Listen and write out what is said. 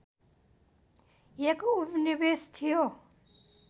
एक उपनिवेश थियो